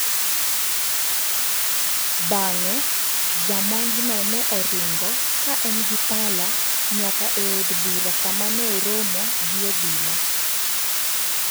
Bang'e, jamonjno ne oringo, ka en gi pala, nyaka e od bura kama ne oromoe gi obila.